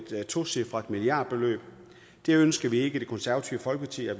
tocifret milliardbeløb det ønsker vi ikke i det konservative folkeparti at